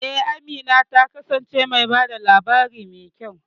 E, Amina ta kasance mai ba da labari mai kyau.